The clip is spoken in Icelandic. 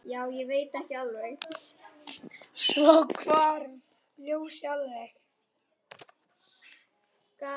Svo hvarf ljósið alveg.